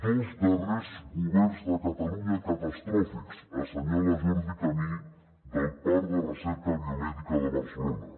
dos darrers governs de catalunya catastròfics assenyala jordi camí del parc de recerca biomèdica de barcelona